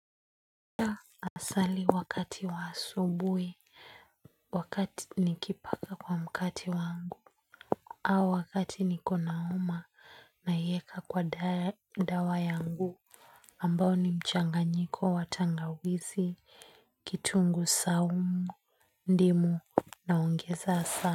Nasali wakati wa asubuhi, wakati nikipaka kwa mkate wangu, au wakati niko na homa naiweka kwa dawa yangu, ambao ni mchanganyiko wa tangawizi, kitunguu saumu, ndimu naongeza asali.